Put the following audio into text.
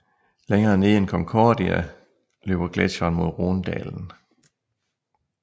Længere nede end Concordia løber gletsjeren mod Rhonedalen